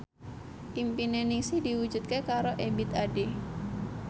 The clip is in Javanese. impine Ningsih diwujudke karo Ebith Ade